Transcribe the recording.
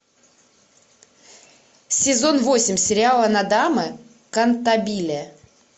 сезон восемь сериала нодамэ кантабиле